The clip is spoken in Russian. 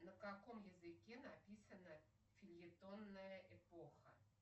на каком языке написана фельетонная эпоха